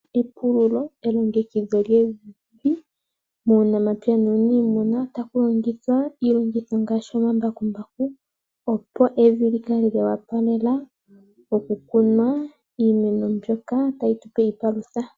Epululo elongekidho lyevi muunamapya nuunimuna otaku longithwa iilongitho ngaashi omambakumbaku opo evi lyi kale lya wapalela okukunwa iimeno mbyoka tayi tupe iipalutha.